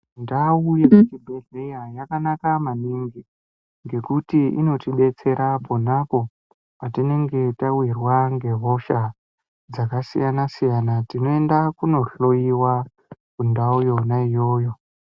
Ndau yekuchibhedhleya yakanaka maningi, ngekuti inotidetsera pona apo, petinenge tauyirwa ngehosha dzakasiyana-siyana, tinoenda kunohloiwa, kundau yona iyoyo.